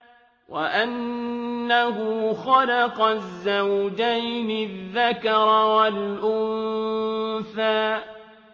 وَأَنَّهُ خَلَقَ الزَّوْجَيْنِ الذَّكَرَ وَالْأُنثَىٰ